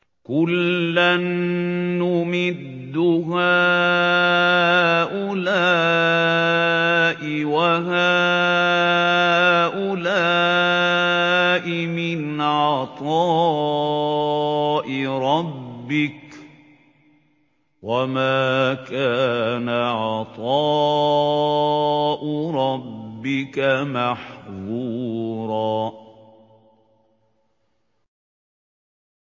كُلًّا نُّمِدُّ هَٰؤُلَاءِ وَهَٰؤُلَاءِ مِنْ عَطَاءِ رَبِّكَ ۚ وَمَا كَانَ عَطَاءُ رَبِّكَ مَحْظُورًا